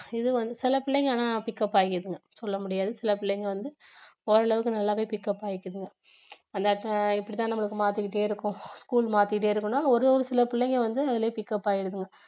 இது வந்து சில பிள்ளைங்க ஆனா pickup ஆகிக்குதுங்க சொல்ல முடியாது சில பிள்ளைங்க வந்து ஓரளவுக்கு நல்லாவே pickup ஆகிக்குதுங்க அந்த இப்படி தான் நம்மளுக்கு மாத்திட்டே இருக்கும் school மாத்திட்டே இருக்குன்னா ஒரு சில பிள்ளைங்க வந்து அதுலயே pickup ஆகிடுதுங்க